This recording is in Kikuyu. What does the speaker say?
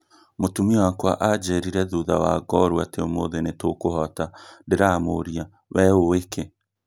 mũtumia wakwa anjĩrire thutha wa ngoorũ atĩ ũmuthĩ nĩtũkũhota, ndĩramũria 'wee ũĩ kĩ?